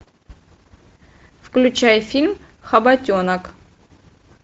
включай фильм хоботенок